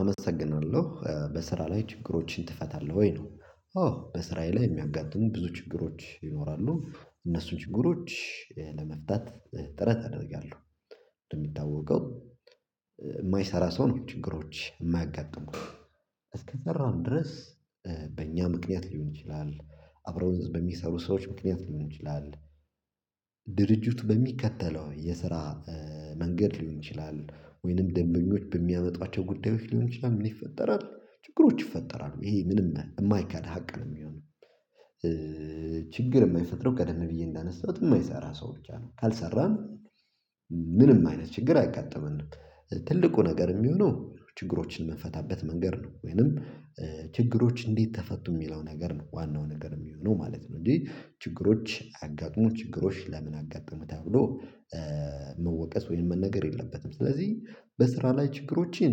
አመሰግናለሁ በስራ ላይ ችግሮችን ትፈታለህ ወይ ነው? አዎ በስራየ ላይ የሚያጋጥሙኝ ብዙ ችግሮች ይኖራሉ እነሱን ችግሮች ለመፍታት ጥረት አደርጋለሁ። እንደሚታወቀው የማይሰራ ሰው ነው ችግሮች የማያጋጥሙት። እስከሰራን ድረስ በእኛ ምክንያት ሊሆን ይችላል። አብረው ዘንድ በሚሰሩ ሰዎች ምክንያት ሊሆን ይችላል። ድርጅቱ በሚከተለው የስራ መንገድ ሊሆን ይችላል። ወይንም ደንበኞች በሚያመጧቸው ጉዳዮች ሊሆን ይችላል ምን ይፈጠራል ችግሮች ይፈጠራሉ ይሄ ምንም የማይካድ ሀቅ ነው የሚሆነው። ችግር የማይፈጥረው ቀደም ብዬ እንዳነሳሁት የማይሰራ ሰው ብቻ ነው ካልሰራን ምንም አይነት ችግር አይጋጠመንም። ትልቁ ነገር የሚሆነው ችግሮችን የምንፈታበት መንገድ ነው ወይንም ችግሮች እንዴት ተፈቱ የሚለው ነገር ዋናው ነገር የሚሆነው ማለት ነው። እንጂ ችግሮች አያጋጥሙ ችግሮች ለምን አጋጥሙ ተብሎ? መወቀስ ወይም መነገር የለበትም። ስለዚህ በስራ ላይ ችግሮችን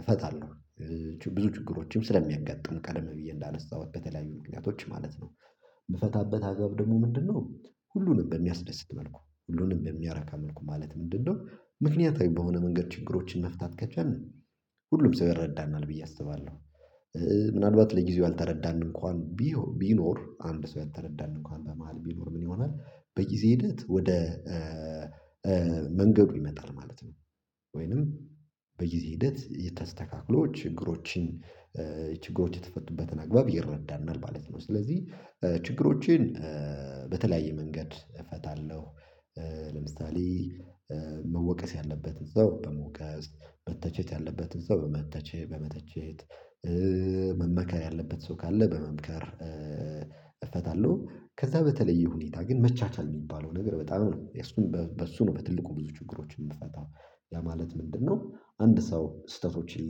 እፈታለሁ። ብዙ ችግሮችም ስለሚያጋጥም ቀደም ብዬ እንዳነሳሁት በተለያዩ ምክንያቶች ማለት ነው። የምፈታበት አግባብ ደግሞ ምንድነው? ሁሉንም በሚያስደስት መልኩ ሁሉንም በሚያረካ መልኩ ማለት ምንድነው? ምክንያታዊ በሆነ መንገድ ችግሮችን መፍታት ከቻልን ሁሉም ሰው ይረዳናል ብዬ አስባለሁ። ምናልባት ለጊዜው አልተረዳንም እንኳን ቢሆ ቢኖር አንድ ሰው ያልተረዳን እንኳን በመሃል ቢኖር ምን ይሆናል? በጊዜ ሂደት ወደ መንገዱ ይመጣል ማለት ነው። ወይንም በጊዜ ሂደት የተስተካክሎ ችግሮችን ችግሮች የተፈቱበትን አግባብ ይረዳናል ማለት ነው። ስለዚህ ችግሮቼን በተለያየ መንገድ እፈታለሁ። ለምሳሌ መወቀስ ያለበት ሰው በመውቀስ በተቸት ያለበት እዛው በመተቸ በመተቸት መመከር ያለበት ሰው ካለ በመምከር እፈታለሁ። ከዛ በተለየ ሁኔታ ግን መቻቻል የሚባለው ነገር በጣም ነው የእሱን በሱ ነው በትልቁ ብዙ ችግሮችን የምፈታው። ያ ማለት ምንድነው? አንድ ሰው ስተቶችን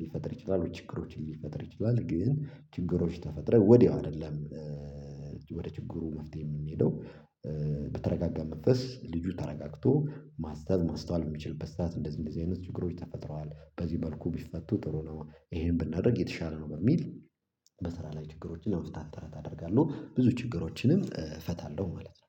ሊፈጥር ይችላል ችግሮችን ሊፈጥር ይችላል ግን ችግሮች ተፈጥረህ ወዲያው አይደለም። ወደ ችግሩ መፍትሄ የምንሄደው በተረጋጋ መንፈስ ልጁ ተረጋግቶ ማሰብ ማስተዋል የሚችልበት ሰዓት እንደዚህ እንደዚህ አይነት ችግሮች ተፈጥረዋል በዚህ መልኩ ቢፈቱ ጥሩ ነው። ይሄን ብናደርግ የተሻለ ነው። በሚል በሰራ ላይ ችግሮች ለመፍታት ጥረት አደርጋለሁ ብዙ ችግሮችንም እፈታለሁ ማለት ነው